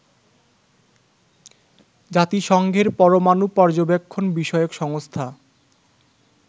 জাতিসংঘের পরমানু পর্যবেক্ষণ বিষয়ক সংস্থা